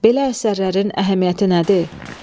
Belə əsərlərin əhəmiyyəti nədir?